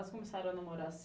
Elas começaram a namorar